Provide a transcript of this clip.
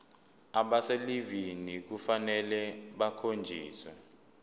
abaselivini kufanele bakhonjiswe